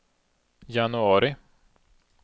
januari